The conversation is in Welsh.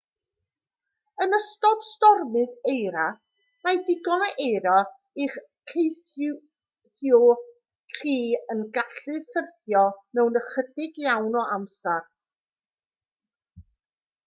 yn ystod stormydd eira mae digon o eira i'ch caethiwo chi yn gallu syrthio mewn ychydig iawn o amser